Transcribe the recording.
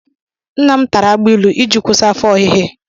Nna m tara agbailu iji kwụsị afọ ọhịhị.